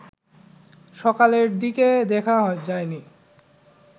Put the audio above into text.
সকালের দিকে দেখা যায়নি